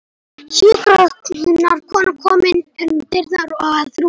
Hjúkrunarkona kom inn um dyrnar og að rúminu.